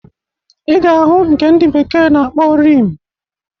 Ị ga-ahụ nke ndị bekee na-akpọ Rim